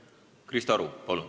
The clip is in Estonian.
Krista Aru, palun!